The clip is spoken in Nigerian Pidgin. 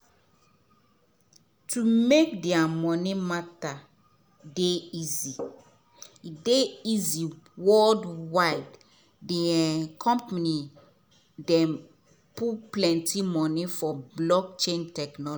to make dia money matter dey easy dey easy worldwidethe um company dey um put plenty money for blockchain technology.